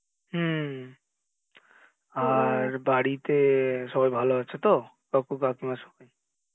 হম আর বাড়ীতে সবাই ভালো আছে তো? কাকু কাকিমা সবাই